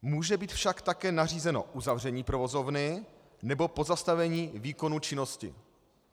Může být však také nařízeno uzavření provozovny nebo pozastavení výkonu činnosti.